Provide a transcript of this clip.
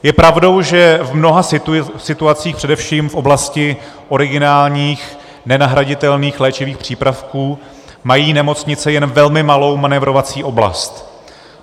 Je pravdou, že v mnoha situacích, především v oblasti originálních nenahraditelných léčivých přípravků, mají nemocnice jen velmi malou manévrovací oblast.